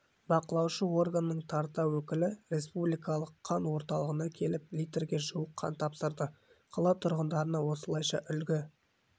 бақылаушы органның тарта өкілі республикалық қан орталығына келіп литрге жуық қан тапсырды қала тұрғындарына осылайша үлгі